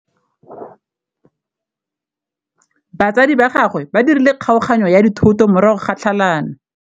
Batsadi ba gagwe ba dirile kgaoganyô ya dithoto morago ga tlhalanô.